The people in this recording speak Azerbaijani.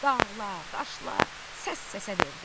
Dağlar, daşlar səs-səsə verdi.